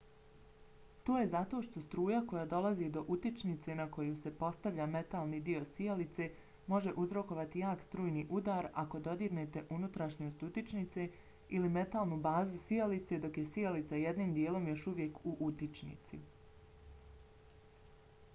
to je zato što struja koja dolazi do utičnice na koju se postavlja metalni dio sijalice može uzrokovati jak strujni udar ako dodirnete unutrašnjost utičnice ili metalnu bazu sijalice dok je sijalica jednim dijelom još uvijek u utičnici